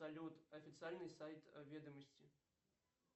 салют официальный сайт ведомости